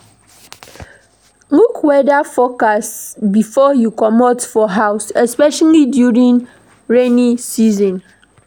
Look weather forecast before you comot for house especially during rainy season